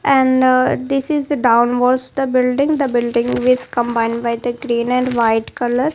and uh this is downwards the building the building is combined by the green and white colour.